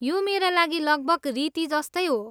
यो मेरा लागि लगभग रीति जस्तै हो।